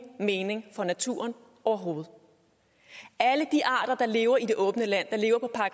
mening for naturen overhovedet alle de arter der lever i det åbne land